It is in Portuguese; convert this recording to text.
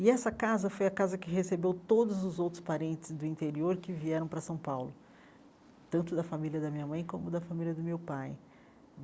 E essa casa foi a casa que recebeu todos os outros parentes do interior que vieram para São Paulo, tanto da família da minha mãe como da família do meu pai.